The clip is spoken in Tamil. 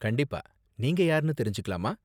கண்டிப்பா, நீங்க யார்னு தெரிஞ்சுக்கலாமா?